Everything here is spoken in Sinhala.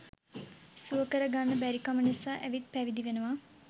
සුවකර ගන්න බැරිකම නිසා ඇවිත් පැවිදි වෙනවා.